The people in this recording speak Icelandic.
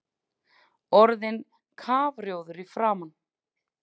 Orðinn kafrjóður í framan!